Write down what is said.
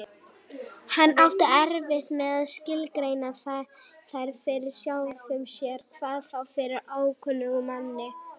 Hann átti erfitt með að skilgreina þær fyrir sjálfum sér, hvað þá fyrir ókunnugum manni.